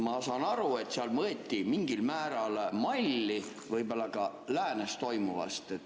Ma saan aru, et seal võeti mingil määral malli võib-olla ka läänes toimuvast.